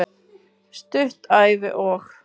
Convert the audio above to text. Stutt Ævi- og